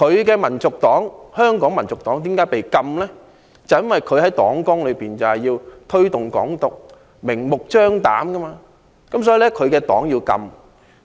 他的香港民族黨被禁，就是因為他在黨綱中明目張膽推動"港獨"。